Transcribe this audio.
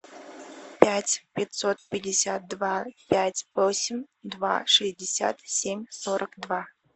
пять пятьсот пятьдесят два пять восемь два шестьдесят семь сорок два